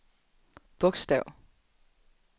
bogstav